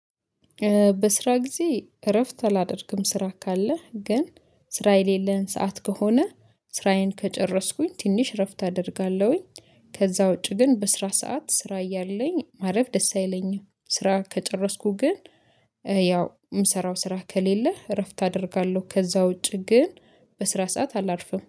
በስራ ጊዜ እረፍት አላደርግም ስራ ካለህ ግን ስራ የሌለን ሰዓት ከሆነ ስራዬን ከጨረስኩኝ ትንሽ እረፍት አደርጋለሁኝ። ከዛ ውጪ ግን በስራ ሰዓት ስራ እያለኝ ማረፍ ደስ አይለኝም ስራ ከጨረስኩ ግን። ያው የምሰራው ስራ ከሌለ እረፍት አደርጋለሁ ከዛ ውጪ ግን። በስራ ሰዓት አላርፍም